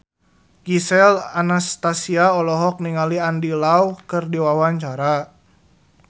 Gisel Anastasia olohok ningali Andy Lau keur diwawancara